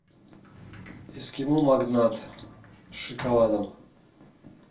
эскимо магнат с шоколадом